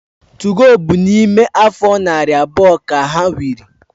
2go bu na ime afo nari abuo ka ha wiri